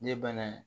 Ne banna